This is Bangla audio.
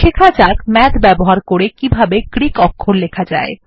শেখা যাক মাথ ব্যবহার করে কিভাবে গ্রীক অক্ষর লেখা যায়